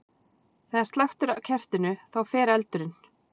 Þegar slökkt er á kertinu, þá fer eldurinn.